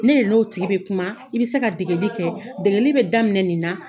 Ne n'o tigi bɛ kuma, i bɛ se ka degeli kɛ, degeli bɛ daminɛ nin na